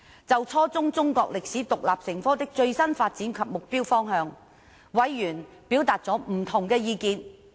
就初中中國歷史獨立成科的最新發展及目標方向，委員表達了不同的意見。